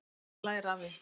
En menn læra af því.